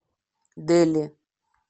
дели